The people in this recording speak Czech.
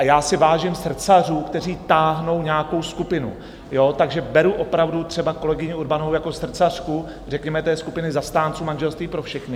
A já si vážím srdcařů, kteří táhnou nějakou skupinu, takže beru opravdu třeba kolegyni Urbanovou jako srdcařku řekněme té skupiny zastánců manželství pro všechny.